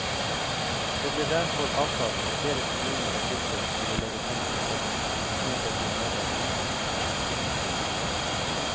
Det ble derfor avtalt at flere kommuner og fylker skulle legge penger i potten, mot å bli medeiere i kraftverket.